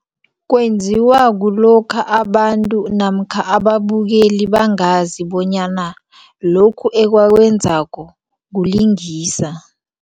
Kwenziwa kulokha abantu namkha ababukeli bangazi bonyana lokhu akakwenzako ukulingisa.